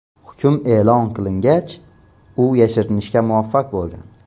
Hukm e’lon qilingach, u yashirinishga muvaffaq bo‘lgan.